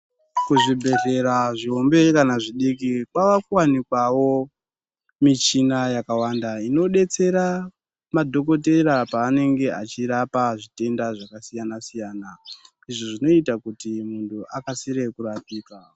Kuzvibhehlera zvihombe kana zvidiki kwava kuwanikwawo muchina yakawanda inodetsera madhokotera paanenge achirapa zvitenda zvakasiyana siyana zvinoita kuti munhu akasire kurapika.